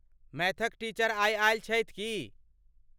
मैथक teacher आई आयल छथि की?